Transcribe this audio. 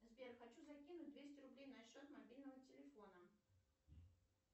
сбер хочу закинуть двести рублей на счет мобильного телефона